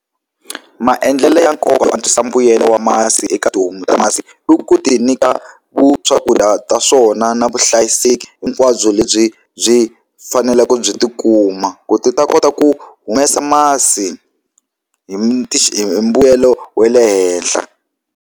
Maendlelo ya nkoka yo antswisa mbuyelo wa masi eka tihomu ta masi i ku ti nyika swakudya ta swona na vuhlayiseki hinkwabyo lebyi byi faneleke byi tikuma ku ti ta kota ku humesa masi hi mbuyelo wa le henhla.